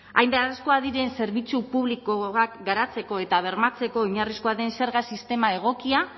hain beharrezkoak diren zerbitzu publikoak garatzeko eta bermatzeko oinarrizkoa den zerga sistema egokia